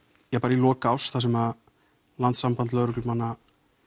í lok árs þar sem Landssamband lögreglumanna